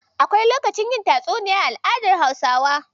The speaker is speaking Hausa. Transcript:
Akwai lokacin yin tatsuniya a al'adar Hausawa.